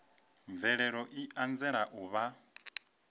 mvelelo i anzela u vha